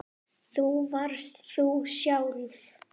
Þú varst þú sjálf.